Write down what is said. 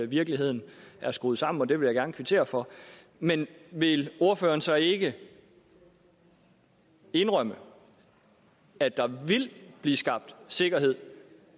virkeligheden er skruet sammen og det vil jeg gerne kvittere for men vil ordføreren så ikke indrømme at der vil blive skabt sikkerhed